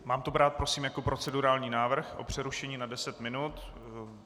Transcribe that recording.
Mám to brát prosím jako procedurální návrh na přerušení na deset minut?